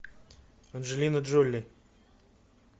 анджелина джоли